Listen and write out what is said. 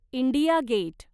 India gate